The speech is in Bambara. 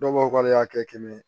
Dɔw b'a fɔ k'ale y'a kɛ kɛmɛ ye